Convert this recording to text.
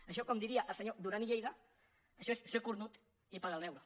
això com diria el senyor duran i lleida això és ser cornut i pagar el beure